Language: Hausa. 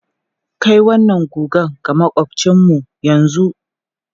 Kai wannan guga ga maƙwabcinmu yanzu!